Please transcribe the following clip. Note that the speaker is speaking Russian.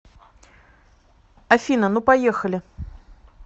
афина ну поехали